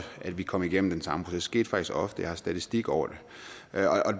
at vi kom igennem den samme proces det skete faktisk ofte jeg har statistik over